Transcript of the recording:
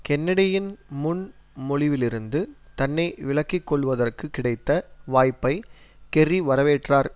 கென்னடியின் முன் மொழிவிலிருந்து தன்னை விலக்கிக்கொள்வதற்கு கிடைத்த வாய்ப்பை கெர்ரி வரவேற்றார்